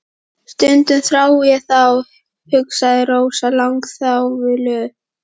Stundum þrái ég þá, hugsaði Rósa langþjálfuð.